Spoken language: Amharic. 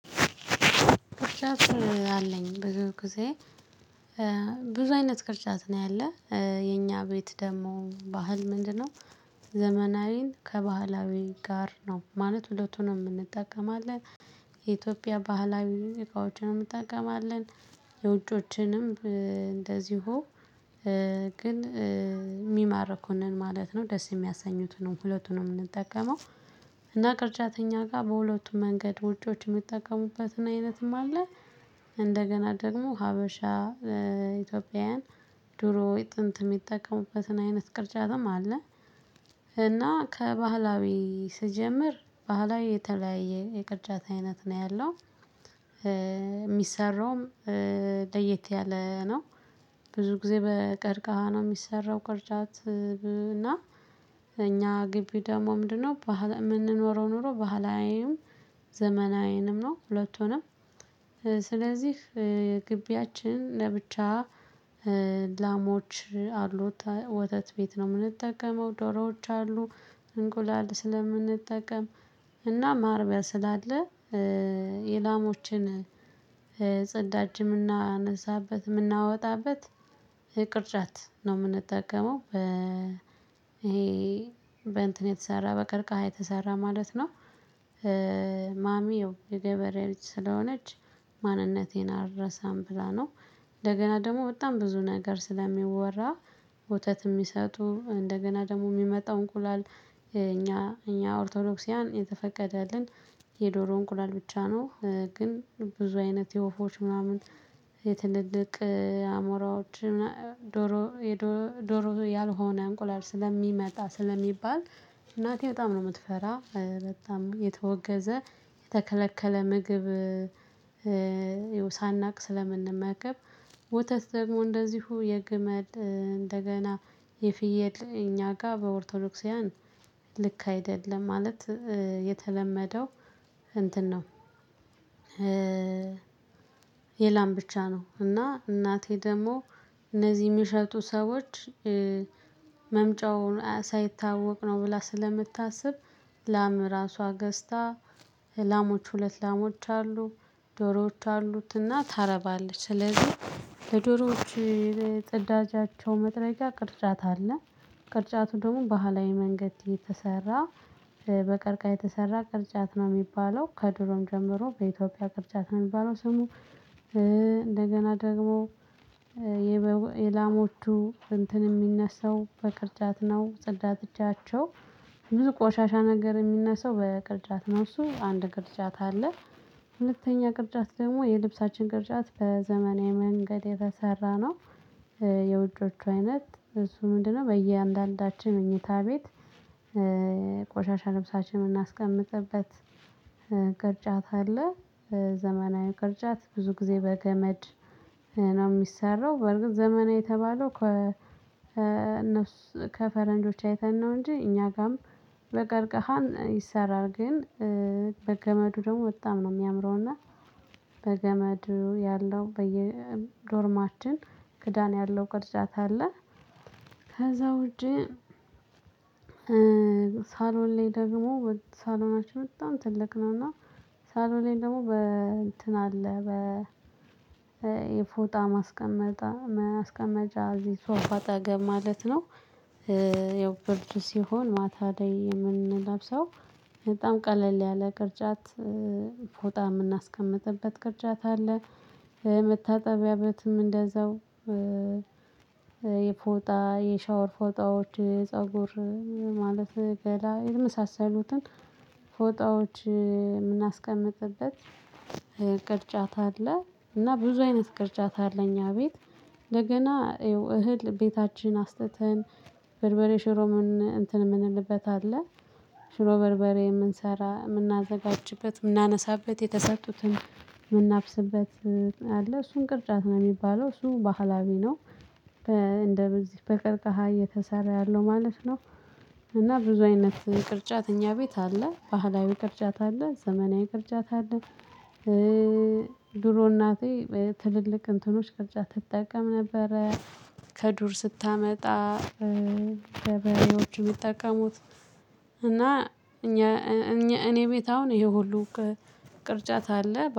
ቅርጻት አለኝ ብዙ ጊዜ ብዙ አይነት ቅርጻት ነው ያለ የኛ ቤት ደግሞ ባህል ምንድነው? ዘመናዊን ከባህላዊ ጋር ነው ማለት ሁለቱንም እንጠቀማለን። የኢትዮጵያ ባህላዊ እቃዎችንም እንጠቀማለን። የውጮችንም እንደዚሁ ግን የሚማርኩንን ማለት ነው ደስ የሚያሰኙትንም ሁለቱንም ነው የምንጠቀመው። እና ቅርጫተኛ ጋር በሁለቱም መንገድ ውጮች የሚጠቀሙበትን አይነትም አለ። እንደገና ደግሞ ሀበሻ ኢትዮጵያውያን ድሮ ጥንት የሚጠቀሙበትን አይነት ቅርጫትም አለ። እና ከባህላዊ ስጀምር ባህላዊ የተለያየ የቅርጫት አይነት ነው ያለው። የሚሰራውም ለየት ያለ ነው። ብዙ ጊዜ በቀርቃሃ ነው የሚሰራው ቁርጫት እና። እኛ ግቢ ደግሞ ምንድነው የምንኖረው ኖሮ ባህላዬም ዘመናዬንም ነው ሁለቱንም። ስለዚህ ግቢያችን ለብቻ ላሞች አሉት ወተት ቤት ነው የምንጠቀመው ዶሮዎች አሉ እንቁላል ስለምንጠቀም እና ማርቢያ ስላለ። የላሞችን ጸዳጅም እናነሳበት የምናወጣበት ቅርጫት ነው የምንጠቀመው ይሄ በእንትን የተሰራ በቅርቅሃ የተሰራ ማለት ነው። ማሚው የገበሬ ልጅ ስለሆነች ማንነቴን አልረሳም ብላ ነው። እንደገና ደግሞ በጣም ብዙ ነገር ስለሚወራ ወተት የሚሰጡ እንደገና ደግሞ የሚመጣው እንቁላል እኛ እኛ ኦርቶዶክስያን የተፈቀደልን የዶሮ እንቁላል ብቻ ነው። ግን ብዙ አይነት የወፎች ምናምን የትልልቅ አሞራዎች የደሮ ዶሮ ያልሆነ እንቁላል ስለሚመጣ ስለሚባል እናቴ በጣም ነው የምትፈራ በጣም የተወገዘ የተከለከለ ምግብ። ሳናውቅ ስለምንመገብ ወተት ደግሞ እንደዚሁ የግመል እንደገና የፍየል እኛ ጋር በኦርቶዶክሳውያን ልክ አይደለም ማለት የተለመደው እንትን ነው። የላም ብቻ ነው እና እናቴ ደግሞ እነዚህ የምሸጡ ሰዎች መምጫውን ሳይታወቅ ነው ብላ ስለምታስብ ላም ራሷ ገዝታ ላሞች ሁለት ላሞች አሉ። ጆሮዎች አሉትና ታረባለች ስለዚህ የዶሮዎች ጽዳጃቸው መድረጃ ቅርጣት አለ። ቅርጫቱ ደግሞ ባህላዊ መንገድ የተሰራ በቀርቃ የተሰራ ቅርጫት ነው የሚባለው ከድሮም ጀምሮ በኢትዮጵያ ቅርጫት ነው የሚባለው ስሙ። እንደገና ደግሞ የላሞቹ እንትን የሚነሳው በቅርጫት ነው ጸዳት እጃቸው ብዙ ቆሻሻ ነገር የሚነሳው በቅርጫት ነው እሱ አንድ ቅርጫት አለ። ሁለተኛ ቅርጫት ደግሞ የልብሳችን ቅርጫት በዘመናዊ መንገድ የተሰራ ነው። የውጮቹ አይነት እሱ ምንድነው? በእያንዳንዳችን መኝታ ቤት ቆሻሻ ልብሳችንን የምናስቀምጥበት ቅርጫት አለ። ዘመናዊ ቅርጫት ብዙ ጊዜ በገመድ ነው የሚሰራው በርግጥ ዘመናዊ የተባለው ከ እነሱ ከፈረንጆች አይተን ነው እንጂ እኛ ጋርም በገርገሃን ይሰራል። ግን በገመዱ ደግሞ በጣም ነው የሚያምረው እና በገመዱ ያለው በየዶርማችን ክዳን ያለው ቅርጫት አለ። ከዛ ውጪ። ሳሎን ላይ ደግሞ ሳሎናችን በጣም ትልቅ ነው እና ሳሎኔም ደግሞ በእንትን አለ በ የፎጣ ማስቀመጥ ማስቀመጫ እዚህ ሶፋ ጠገብ ማለት ነው። ያው ብርድት ሲሆን ማታ ላይ የምንለብሰው በጣም ቀለል ያለ ቅርጫት ፎጣ የምናስቀምጥበት ቅርጫት አለ መታጠቢያበትም እንደዛው። የፎጣ የሻወር ፎጣዎች ፀጉር ማለት ገላ የተመሳሰሉትን ፎጣዎች የምናስቀምጥበት ቅርጫት አለ። እና ብዙ አይነት ቅርጫት አለ እኛ ቤት። ለገና እህል ቤታችን አስጥተን በልበሬ ሽሮምን እንትን የምንልበት አለ። ሽሮ በርበሬ የምንሰራ የምናዘጋጅበት የምናነሳበት የተሰጡትን የምናብስበት አለ እሱን ቅርጫት ነው የሚባለው እሱ ባህላዊ ነው። እንደበዚህ በቅርቃሃ እየተሰራ ያለው ማለት ነው። እና ብዙ አይነት ቅርጫተ እኛ ቤት አለ ባህላዊ ቅርጫት አለ ዘመናዊ ቅርጫት አለ። ድሮ እናቴ ትልልቅ እንትኖች ቅርጫት ትጠቀም ነበረ። ከዱር ስታመጣ ለበሬዎች የሚጠቀሙት እና እኛ እኔ ቤት አሁን ይሄ ሁሉ ቅርጫት አለ